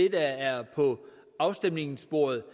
er på afstemningsbordet